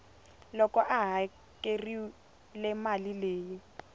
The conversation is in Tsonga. loko a hakerile mali leyi